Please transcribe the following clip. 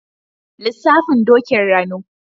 Lissafin Dokin Rano.